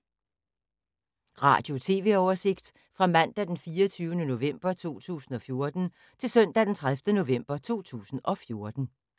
Radio/TV oversigt fra mandag d. 24. november 2014 til søndag d. 30. november 2014